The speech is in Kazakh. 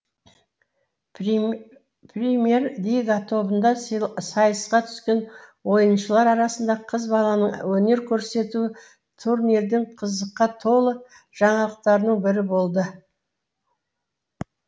премьер лига тобында сайысқа түскен ойыншылар арасында қыз баланың өнер көрсетуі турнирдің қызыққа толы жаңалықтарының бірі болды